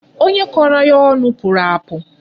Onye kọrọ ya ọnụ pụrụ apụ.